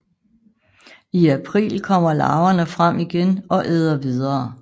I april kommer larverne frem igen og æder videre